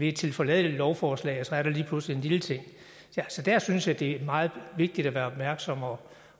et tilforladeligt lovforslag og så er der lige pludselig en lille ting der synes jeg det er meget vigtigere at være opmærksom